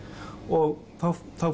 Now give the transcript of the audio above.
og þá